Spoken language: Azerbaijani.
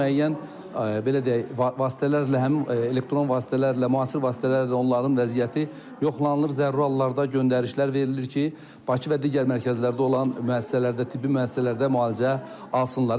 Müəyyən, belə deyək, vasitələrlə, həmin elektron vasitələrlə, müasir vasitələrlə də onların vəziyyəti yoxlanılır, zəruri hallarda göndərişlər verilir ki, Bakı və digər mərkəzlərdə olan müəssisələrdə, tibbi müəssisələrdə müalicə alsınlar.